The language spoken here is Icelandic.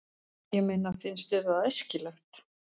Ég meina, finnst þér það æskilegt?